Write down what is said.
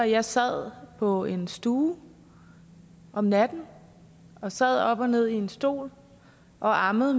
jeg sad på en stue om natten og sad op og ned i en stol og ammede